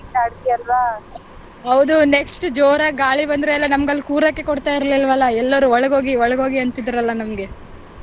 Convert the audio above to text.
ಹೌದು next ಜೋರಾಗಿ ಗಾಳಿ ಬಂದ್ರೆ ನಮ್ಗ್ ಅಲ್ಲಿ ಕೂರಕ್ಕೆ ಕೊಡ್ತಾ ಇರ್ಲಿಲ್ಲವಲ್ಲ ಎಲ್ಲರೂ ಒಳಗೋಗಿ ಒಳಗೋಗಿ ಅಂತಿದ್ದರಲ್ಲ ನಮ್ಗೆ.